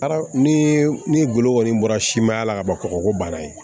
Aramu ni ni golo kɔni bɔra simanya la ka ban kɔgɔ ko bana ye